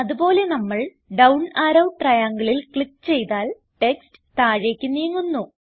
അത് പോലെ നമ്മൾ ഡൌൺ അറോ triangleൽ ക്ലിക്ക് ചെയ്താൽ ടെക്സ്റ്റ് താഴേക്ക് നീങ്ങുന്നു